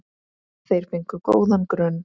Þeir fengu góðan grunn.